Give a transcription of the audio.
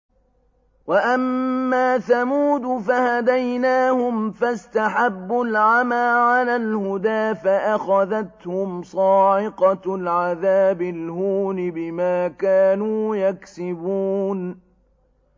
وَأَمَّا ثَمُودُ فَهَدَيْنَاهُمْ فَاسْتَحَبُّوا الْعَمَىٰ عَلَى الْهُدَىٰ فَأَخَذَتْهُمْ صَاعِقَةُ الْعَذَابِ الْهُونِ بِمَا كَانُوا يَكْسِبُونَ